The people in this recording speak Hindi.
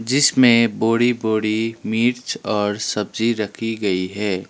जिसमें बोरी बोरी मिर्च और सब्जी रखी गई है।